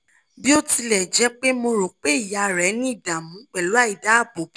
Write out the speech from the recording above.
bí ó tilẹ̀ jẹ́ pé mo rò pé ìyá rẹ ní ìdààmú pẹ̀lú àìdáàbòbò